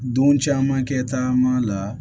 Don caman kɛ taama la